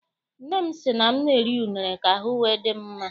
Nne m sị m na-eri unere ka ahụ wee dị m mma.